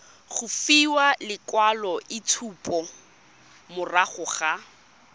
go fiwa lekwaloitshupo morago ga